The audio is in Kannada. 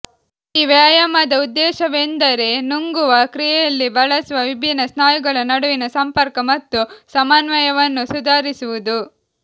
ಈ ವ್ಯಾಯಾಮದ ಉದ್ದೇಶವೆಂದರೆ ನುಂಗುವ ಕ್ರಿಯೆಯಲ್ಲಿ ಬಳಸುವ ವಿಭಿನ್ನ ಸ್ನಾಯುಗಳ ನಡುವಿನ ಸಂಪರ್ಕ ಮತ್ತು ಸಮನ್ವಯವನ್ನು ಸುಧಾರಿಸುವುದು